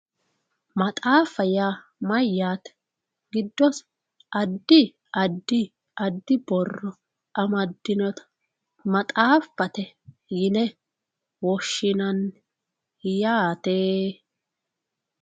maxaaffa yaa mayyaate. addi addi addi borro amaddinota maxaaffate yine woshshinanni yaate.